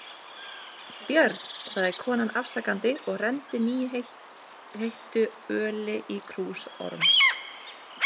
Þetta er Björn, sagði konan afsakandi og renndi nýheittu öli í krús Orms.